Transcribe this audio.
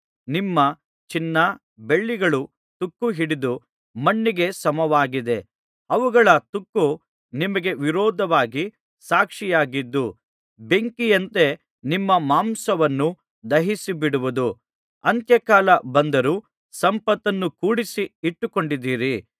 ನಿಮ್ಮ ಚಿನ್ನ ಬೆಳ್ಳಿಗಳು ತುಕ್ಕು ಹಿಡಿದು ಮಣ್ಣಿಗೆ ಸಮವಾಗಿದೆ ಅವುಗಳ ತುಕ್ಕು ನಿಮಗೆ ವಿರೋಧವಾಗಿ ಸಾಕ್ಷಿಯಾಗಿದ್ದು ಬೆಂಕಿಯಂತೆ ನಿಮ್ಮ ಮಾಂಸವನ್ನು ದಹಿಸಿಬಿಡುವುದು ಅಂತ್ಯಕಾಲ ಬಂದರೂ ಸಂಪತ್ತನ್ನು ಕೂಡಿಸಿ ಇಟ್ಟುಕೊಂಡಿದ್ದೀರಿ